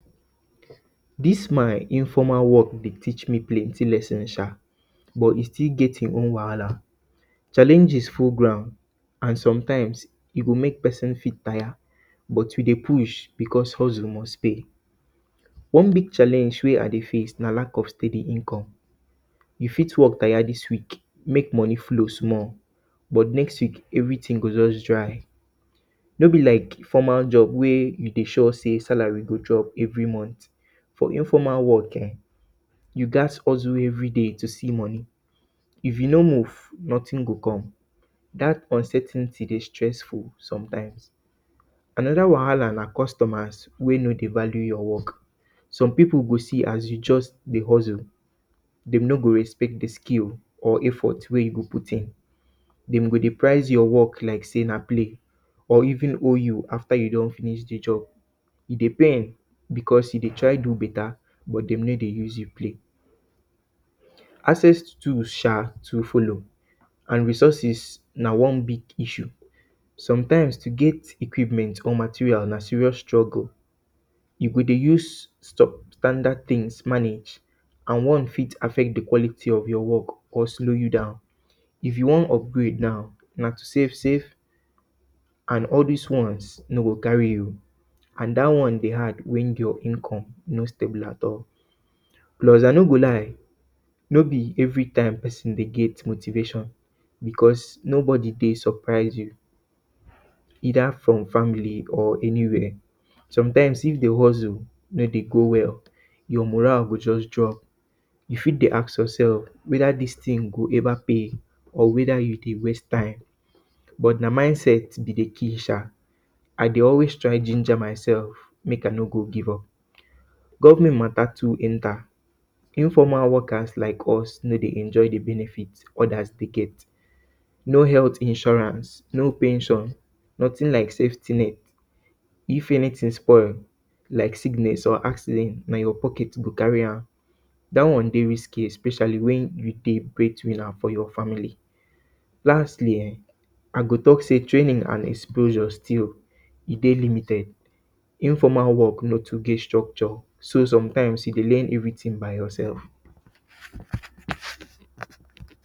Dis my informal work dey teach me plenti lesin sha. But, e still get im own wahala. Challenges full ground and sometimes e go mek pesin tire, but we dey push, because hustle must pay. One big challenge wey I dey face na lack of steady income, you fit work tire dis week, mek moni flow small, but next week, everytin go just dry. No bi lak formal job wey you dey sure say salary go chop every month for informal work ehn, you gat hustle everyday to see moni. If you no move, notin go come. Dat uncertainty dey stressful sometimes. Anoda wahala na customers wey no dey value your work. Some pipu go see as you just dey hustle, de no go respect di skill or effort wey you put in. dem go dey price your work lak say na play or even hold you afta you don finish di job. E dey pain because you dey try do beta but dem no dey. Access too sha too follow and resources na one big issue. Sometimes, to get equipment or material na serious trouble, you go dey use standard tins manage and one fit access di quality of your work or slow you down. If you wan upgrade now, na to save save and all dis ones no go carry you. And dat one dey hard wen your income no stable at all, plus, I no go lie, no bi everytime pesin dey get motivation because nobody dey surprise you either from family or anywhere. Sometimes, if di hustle no dey drop, you fit dey ask yourself weda dis tin go ever pay or weda e dey waste time. But, na mindset e dey kill sha. I dey always try ginger myself mek I no go give up. But, government mata too enta. Informal workers lak us no dey enjoy di benefits odas dey get. No health insurance, no pension, notin na safety. if anytin spoil, lak sickness or accident na your pocket you go carry am. Dat one dey risky, especially wen you dey bread winner for your family. Lastly eh, I go talk say training and exposure still, e dey limited. informal work no too get structure, so, sometimes, you dey rear everytin by yourself.